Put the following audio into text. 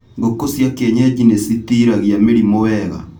Ngũkũ cia kienyeji nĩcitiragia mĩrimũ wega.